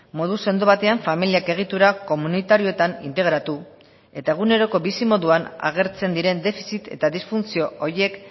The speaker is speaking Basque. modu sendo batean familiak egitura komunitarioetan integratu eta eguneroko bizimoduan agertzen diren defizit eta disfuntzio horiek